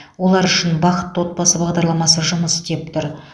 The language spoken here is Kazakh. олар үшін бақытты отбасы бағдарламасы жұмыс істеп тұр